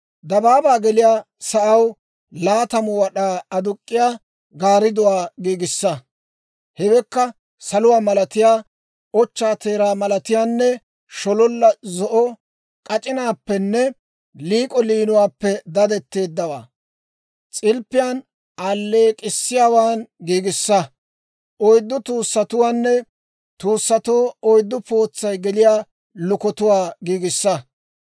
«Dabaabaa geliyaa sa'aw laatamu wad'aa aduk'k'iyaa gaardduwaa giigissa; hewekka saluwaa malatiyaa, ochchaa teeraa malatiyaanne, shololla zo'o k'ac'inaappenne liik'o liinuwaappe dadetteeddawaa, s'ilppiyaan alleek'k'issiyaawaan giigissa. Oyddu tuussatuwaanne tuussatoo oyddu pootsay geliyaa lukotuwaa giigissa.